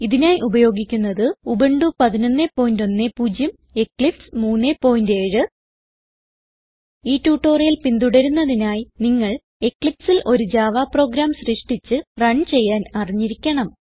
ഇതിനായി ഉപയോഗിക്കുന്നത് Ubuntu 1110 Eclipse 37 ഈ ട്യൂട്ടോറിയൽ പിന്തുടരുന്നതിനായി നിങ്ങൾ Eclipseൽ ഒരു ജാവ പ്രോഗ്രാം സൃഷ്ടിച്ച് റൺ ചെയ്യാൻ അറിഞ്ഞിരിക്കണം